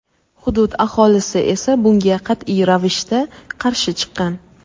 Hudud aholisi esa bunga qat’iy ravishda qarshi chiqqan.